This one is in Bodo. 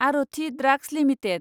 Aarti drugs limited